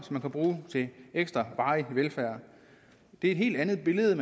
til ekstra varig velfærd det er et helt andet billede